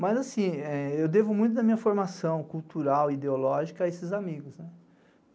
Mas, assim, eu devo muito da minha formação cultural, ideológica, a esses amigos, né?